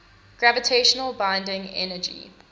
gravitational binding energy